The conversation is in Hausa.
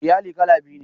Iyali kala biyu ne.